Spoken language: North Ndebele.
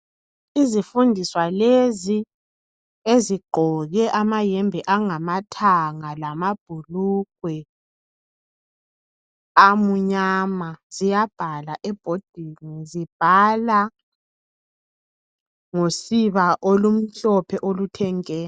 Izifundiswa lezi ngezigqoke amayembe angamathanga lamabhulungwe amnyama. Ziyabhala ebhodini zibhala ngosiba olumhlophe oluthe nke.